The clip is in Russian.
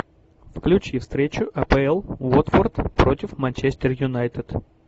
включи встречу апл уотфорд против манчестер юнайтед